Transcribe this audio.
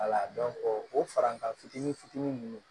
o farankan fitinin fitinin nunnu